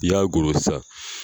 i y'a goro sisan.